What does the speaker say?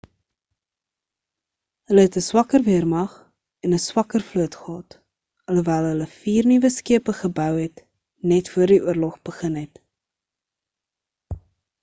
hulle het 'n swakker weermag en 'n swakker vloot gehad alhoewel hulle vier nuwe skepe gebou het net voor die oorlog begin het